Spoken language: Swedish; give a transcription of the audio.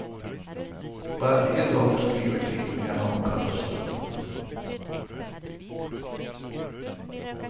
Varje dag skriver tidningarna om katastrofen.